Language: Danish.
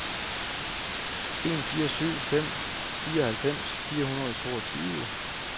en fire syv fem fireoghalvfems fire hundrede og toogtyve